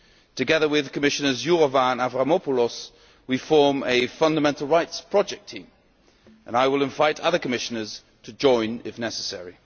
Together with Commissioners Jourová and Avramopoulos we form a fundamental rights project team, and I will invite other Commissioners to join if necessary.